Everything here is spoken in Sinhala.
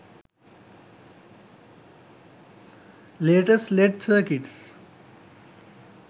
letast led circuits